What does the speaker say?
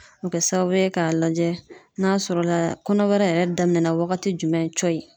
O bɛ kɛ sababu ye k'a lajɛ n'a sɔrɔ la kɔnɔbara yɛrɛ daminɛ na wagati jumɛn cɔyi.